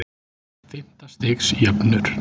Fimmta stigs jöfnur.